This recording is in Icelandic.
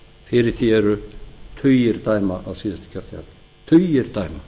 fyrir því eru tugir dæma á síðasta kjörtímabili tugir dæma